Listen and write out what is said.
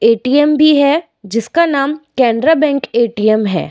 ATM भी है जिसका नाम कैनरा बैंक एटीएम है।